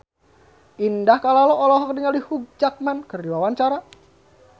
Indah Kalalo olohok ningali Hugh Jackman keur diwawancara